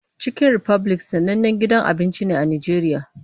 Chicken Republic sanannen gidan abinci ne a Najeriya.